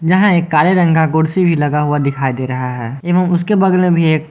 जहां एक काले रंग का कुर्सी भी लगा हुआ दिखाई दे रहा है एवं उसके बगल में भी एक--